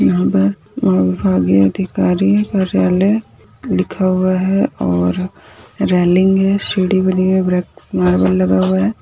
विभा अ विभागीय अधिकारी कार्यालय लिखा हुआ है और रेलिंग है सीढ़ी बनी है ब्लॅक मारबल लगा हुआ है।